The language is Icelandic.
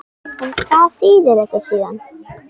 En hvað þýðir þetta síðan?